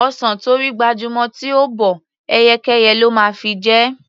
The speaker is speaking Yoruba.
Ọsàn tó rí gbajúmọ̀ tí ò bọ́, ẹyẹkẹ́yẹ ló máa fi jẹ.